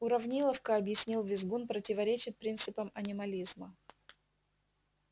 уравниловка объяснил визгун противоречит принципам анимализма